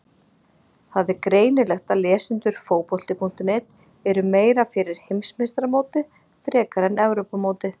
Það er greinilegt að lesendur Fótbolti.net eru meira fyrir Heimsmeistaramótið frekar en Evrópumótið.